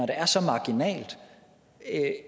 er så marginalt